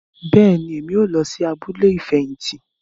Bẹẹni, Èmí o lọ sí abúlé ifẹhinti